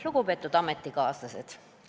Lugupeetud ametikaaslased!